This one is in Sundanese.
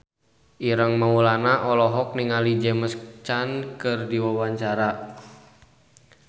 Ireng Maulana olohok ningali James Caan keur diwawancara